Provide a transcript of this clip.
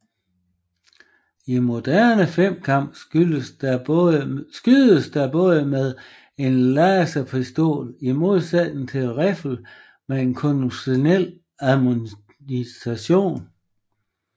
I moderne femkamp skydes der bare med en laserpistol i modsætning til riffel med konventionel ammunition